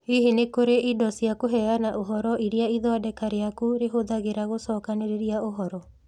Hihi nĩ kũrĩ indo cia kũheana ũhoro iria ithondeka rĩaku rĩhũthagĩra gũcokanĩrĩria ũhoro?